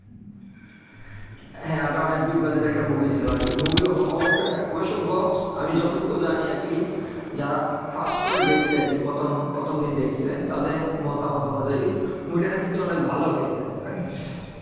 হ্যাঁ ওটা অনেক big budget এর একটা movie ছিল আর কি movie অবশ্য~অবশ্য box আমি যতটুকু জানি আর কি যারা first show এ দেখছে আর কি প্রথম প্রথম দিন দেখছে, তাদের মতামত অনুযায়ী, movie টা নাকি অনেক ভালো হইছে আর কি।